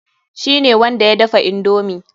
Shi ne wanda ya dafa indomi.